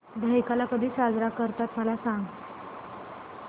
दहिकाला कधी साजरा करतात मला सांग